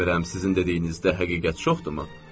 Bilmirəm sizin dediyinizdə həqiqət çoxdurmu?